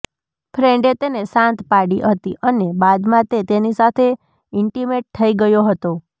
ફ્રેન્ડે તેને શાંત પાડી હતી અને બાદમાં તે તેની સાથે ઈન્ટિમેટ થઈ ગયો હતો